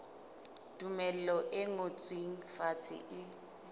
tumello e ngotsweng fatshe e